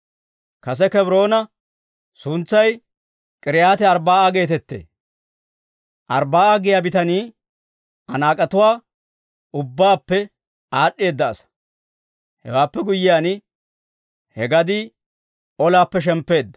Kase Kebroona suntsay K'iriyaati-Arbbaa'a geetettee; Arbbaa'a giyaa bitanii Anaak'etuwaa ubbaappe aad'd'eedda asaa. Hewaappe guyyiyaan, he gadii olaappe shemppeedda.